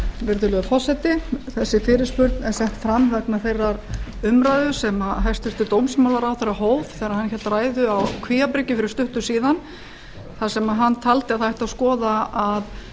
virðulegur forseti þessi fyrirspurn er sett fram vegna þeirrar umræðu sem hæstvirtur dómsmálaráðherra hóf þegar hann hélt ræðu á kvíabryggju fyrir stuttu síðan þar sem hann taldi að það ætti að skoða að